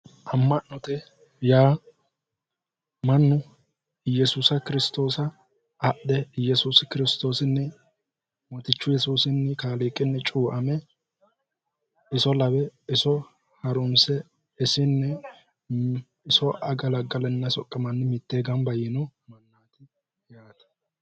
Ama'note yaa mannu Iyesuusa kiristoosa adhe yesuusi kirsistoosini mootichuni cuuame iso lawe harrunse isinni iso agalagalaninna soqamani mitte gamba yiino mannati yaate